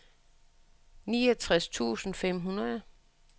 niogtres tusind fem hundrede